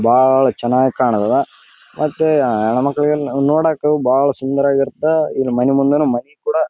ಹೂ ಹೂಗಳ ಕಿತ್ಕೊಂಡ್ ಹೋಗ್ತೀವಿ ಕಿತ್ಕೊಂಡ್ ಜನಗಳು ಕಿತ್ಕೊಂಡು ಹೋಗ್ತಾರೆ ಕೇಳ್ತಾರೆ ನಿಮಗೂ ಕೊಡ್ರಿ ಅಂತ ನಾವು ಕಿತ್ತಿ ದೇವರಿಗೆ ಮೂಡುಸ್ತೀವಿ ದೇವಸ್ಥಾನಕ್ಕೂ ಕೊಡ್ತೀವಿ.